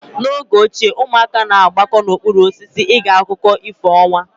N'oge ochie ụmụaka na-agbakọta n'okpuru osisi ege akụkọ ifo ọnwa.